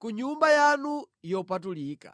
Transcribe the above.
ku Nyumba yanu yopatulika.